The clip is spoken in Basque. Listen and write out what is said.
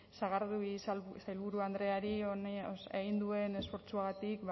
sagardui sailburu andreari egin duen esfortzuagatik